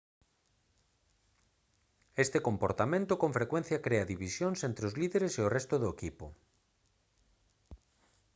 este comportamento con frecuencia crea divisións entre os líderes e o resto do equipo